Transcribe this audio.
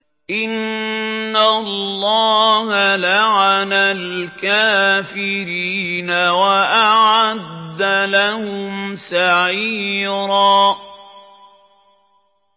إِنَّ اللَّهَ لَعَنَ الْكَافِرِينَ وَأَعَدَّ لَهُمْ سَعِيرًا